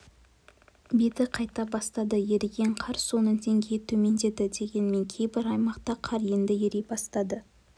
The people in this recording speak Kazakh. беті қайта бастады еріген қар суының деңгейі төмендеді дегенмен кейбір аймақта қар енді ери бастады